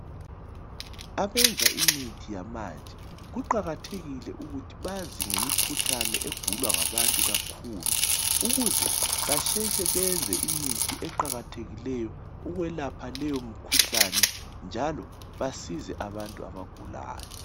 Abenza imithi yamanje kuqakathekile ukuthi bazi ngemikhuhlane egulwa ngabantu kakhulu ukuze basheshe benze imithi eqakathekileyo ukwelapha leyo mkhuhlane njalo basize abantu abagulayo.